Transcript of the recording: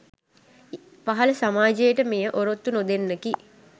පහළ සමාජයට මෙය ඔරොත්තු නොදෙන්නකි